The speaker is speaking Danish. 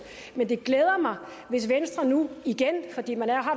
men det glæder mig hvis venstre nu igen fordi man har